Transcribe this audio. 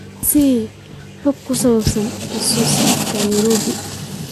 i sii xog ku saabsan isu socodka nairobi